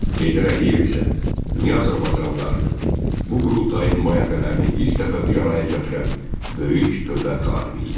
Heydər Əliyev isə dünya azərbaycanlılarını, bu qurultayın nümayəndələrini ilk dəfə bir araya gətirən böyük dövlət xadimi idi.